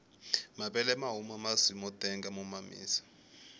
mavele mahuma masi motenga mo mamisa